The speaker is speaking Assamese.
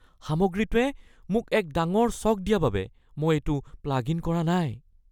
সামগ্ৰীটোৱে মোক এক ডাঙৰ শ্বক দিয়া বাবে মই এইটো প্লাগ ইন কৰা নাই